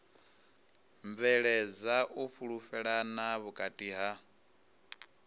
bveledza u fhulufhelana vhukati ha